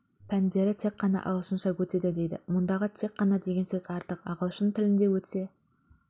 пәндері тек қана ағылшынша өтеді дейді мұндағы тек қана деген сөз артық ағылшын тілінде өтсе